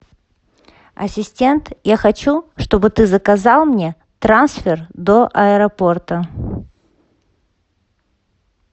ассистент я хочу чтобы ты заказал мне трансфер до аэропорта